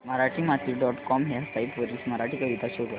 Marathimati dot com ह्या site वरील मराठी कविता शो कर